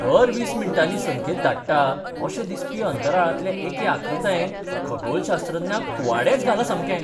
दर वीस मिनटांनी संकेत धाडटा अशें दिसपी अंतराळांतले एके आकृतायेन खगोलशास्त्रज्ञांक कुवाडेंच घालां सामकें.